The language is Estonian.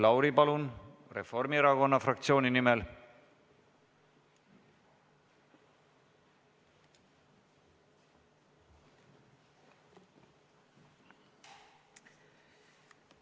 Maris Lauri Reformierakonna fraktsiooni nimel, palun!